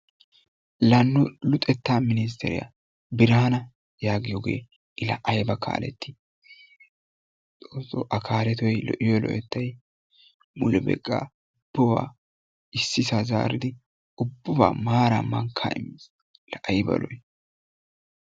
La nu luxetta minstteriya Biraanna yaagiyogee I laa ayba kaaleti Xoosso A kaaletoy lo'iyo lo"ettay mulebaykka sohuwa ississaa zaaridi ubbabaa maaraa mankkaa immiis la ayba lo"i!